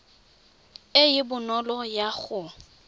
e e bonolo ya go